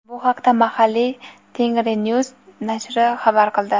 Bu haqda mahalliy "tengrinews" nashri xabar qildi.